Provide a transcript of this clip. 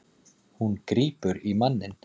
Hún grípur í manninn.